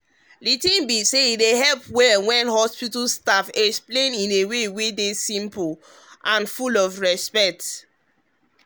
the thing be saye help well when hospital staff explain treatment in way wey simple and full of respect.